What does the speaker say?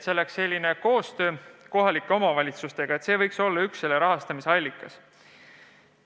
Nii et see oleks koostöö kohalike omavalitsustega, see võiks olla üks muudatuse rahastamise allikas.